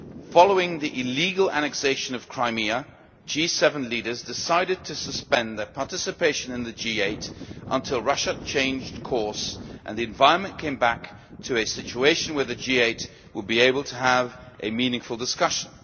Following the illegal annexation of Crimea, G7 leaders decided to suspend their participation in the G8 until Russia changed course and the environment came back to a situation where the G8 would be able to have a meaningful discussion.